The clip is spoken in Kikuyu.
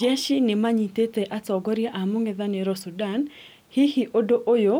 Jeshi nĩmanyitĩte atongoria a mũng'ethanĩro Sudan, hihi ũndũ ũyũ